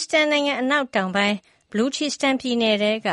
စ္စတန်နိုင်ငံအနောက်တောင်ပိုင်း ဘလူချီစတန်ပြည်နယ်ထဲက